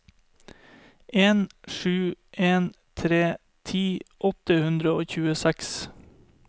en sju en tre ti åtte hundre og tjueseks